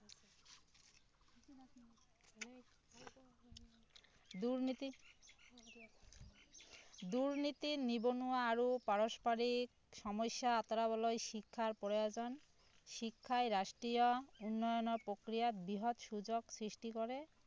দুৰ্নীতি দুৰ্নীতি নিবনোৱা আৰু পাৰস্পৰিক সম্যস্যা আঁতৰাবলৈ শিক্ষাৰ প্ৰয়োজন শিক্ষায় ৰাষ্ট্ৰীয় উন্নয়ন প্ৰক্ৰিয়াক বৃহৎ সুযোগ সৃষ্টি কৰে